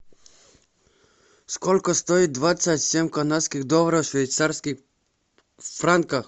сколько стоит двадцать семь канадских доллара в швейцарских франках